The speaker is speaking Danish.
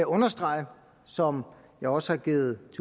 understrege som jeg også har givet